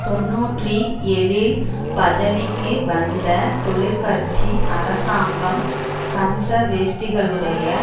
தொன்னூற்றி ஏழில் பதவிக்கு வந்த தொழிற்கட்சி அரசாங்கம் கன்சர் வேஷ்டிகளை